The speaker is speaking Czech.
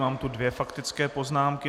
Mám tu dvě faktické poznámky.